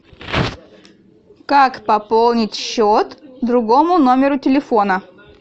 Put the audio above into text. как пополнить счет другому номеру телефона